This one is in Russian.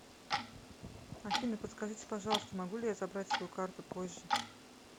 афина подскажите пожалуйста могу ли я забрать свою карту позже